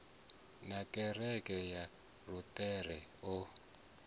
na kereke ya luṱere o